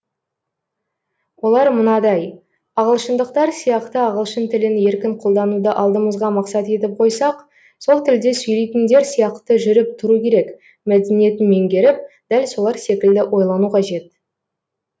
олар мынадай ағылшындықтар сияқты ағылшын тілін еркін қолдануды алдымызға мақсат етіп қойсақ сол тілде сөйлейтіндер сияқты жүріп тұру керек мәдениетін меңгеріп дәл солар секілді ойлану қажет